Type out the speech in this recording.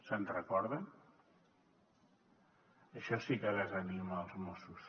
se’n recorden això sí que desanima els mossos